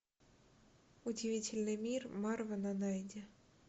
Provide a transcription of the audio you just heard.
удивительный мир марвена найди